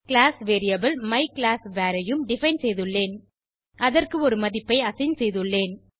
class variable மைக்ளாஸ்வர் ஐயும் define செய்துள்ளேன் அதற்கு ஒரு மதிப்பை அசைன் செய்துள்ளேன்